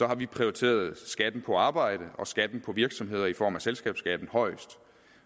har vi prioriteret skatten på arbejde og skatten på virksomheder i form af selskabsskatten højest